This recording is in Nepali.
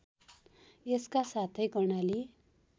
यसका साथै कर्णाली